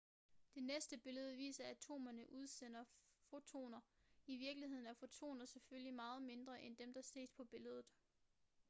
det næste billede viser atomerne udsende fotoner i virkeligheden er fotoner selvfølgelig meget mindre end dem der ses på billedet